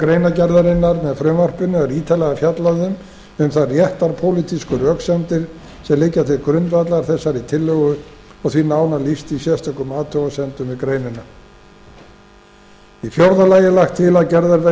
greinargerðarinnar með frumvarpinu er ítarlega fjallað um þær réttarpólitísku röksemdir sem liggja til grundvallar þessari tillögu og því nánar lýst í sérstökum athugasemdum við greinina í fjórða lagi er lagt til að gerðar verði